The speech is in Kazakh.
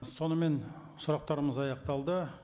сонымен сұрақтарымыз аяқталды